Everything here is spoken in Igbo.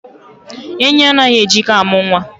Enyi anaghị e ji ike amụ nwa.